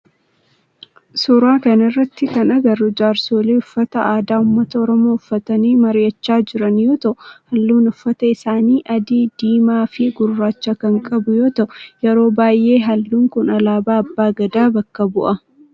Suuraa kana irratti kan agarru jaarsoolii uffata aadaa ummata oromoo uffatanii mari'achaa jiran yoo ta'u halluun uffata isaanii, adii, diimaa fi gurraacha kan qabu yoo ta'u yeroo baayyee halluun kun alaabaa abbaa Gadaa bakka bu'a.